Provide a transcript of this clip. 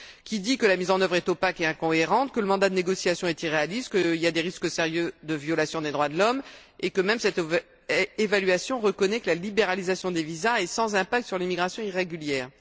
Ce rapport dit que la mise en œuvre est opaque et incohérente, que le mandat de négociation est irréaliste, qu'il y a des risques sérieux de violation des droits de l'homme et que même cette évaluation reconnaît que la libéralisation des visas est sans incidence sur l'immigration irrégulière.